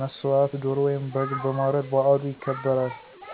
መሠዋት ዶሮ ወይም በግ በማረድ በዓሉ ይከበራል።